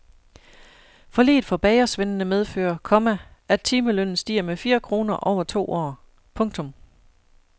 Forliget for bagersvendene medfører, komma at timelønnen stiger med fire kroner over to år. punktum